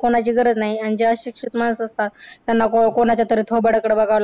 कोणाची गरज नाही आणि हे अशिक्षित माणसं असतात त्यांना कोणाच्या तरी थोबाडाकडं बघावं लागतं.